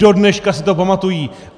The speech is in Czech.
Dodneška si to pamatují!